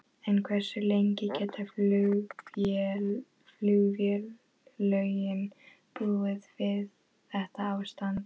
En hversu lengi geta flugfélögin búið við þetta ástand?